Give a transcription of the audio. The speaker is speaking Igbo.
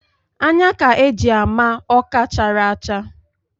Anya ka e ji ama Ọka chara acha